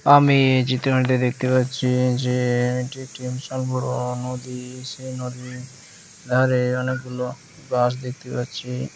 আমি এই চিত্রটিতে দেখতে পাচ্ছি যে এটি একটি বিশাল বড়ো নদী | সেই নদী ধারে অনেকগুলো গাছ দেখতে পাচ্ছি।